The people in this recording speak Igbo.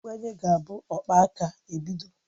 Mgbanye ga-abụ akpaaka ebido.